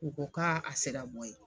U ko k'a a sera bɔ ye